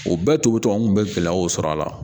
O bɛɛ to tɔ n kun bɛ gɛlɛyaw sɔrɔ a la